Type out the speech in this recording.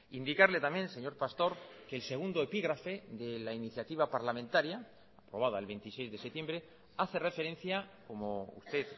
indicarle también señor pastor que el segundo epígrafe de la iniciativa parlamentaria aprobada el veintiséis de septiembre hace referencia como usted